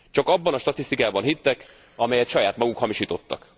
Csak abban a statisztikában hittek, amelyet saját maguk hamisítottak.